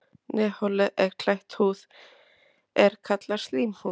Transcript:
Nefholið er klætt húð er kallast slímhúð.